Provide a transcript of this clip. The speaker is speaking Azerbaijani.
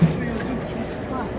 Yaxşı, yaxşı.